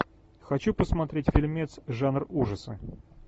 хочу посмотреть фильмец жанр ужаса